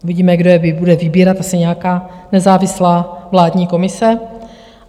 Uvidíme, kdo je bude vybírat, asi nějaká nezávislá vládní komise.